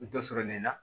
Dɔ sɔrɔ nin na